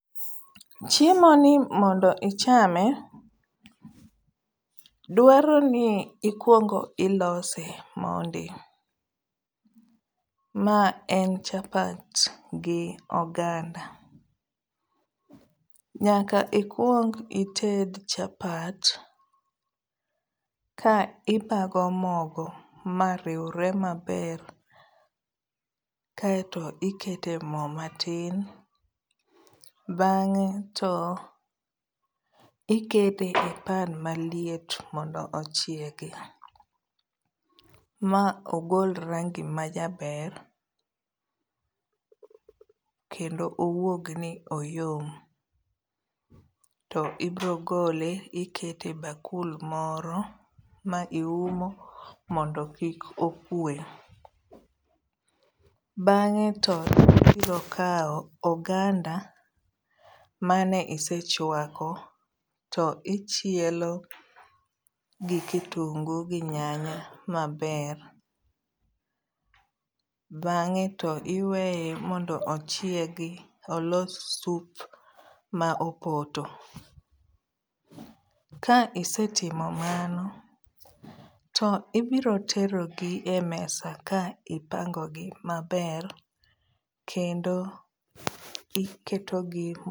Chiemoni mondo ichame, dwaroni ikuongo ilose mondi, mae en chapat gi oganda, nyaka ikuong ited chapat ka ibago mogo mariwre maber, kae to ikete mo matin bang'e to ikete e pan malit mondo ochiegi, ma ogol rangi majaber, kendo owuogni oyom, to ibro gole to ikete e bakul moro ma iumo mondo kik okwe, bang'e to ibro kawo oganda mane isechwako to ichielo gi kitungu gi nyanya maber, bang'e to iweye mondo ochiegi olos sup ma opoto, ka isetimo mano, to ibiro terogi e mesa ka ipangogi maber, kendo iketogi e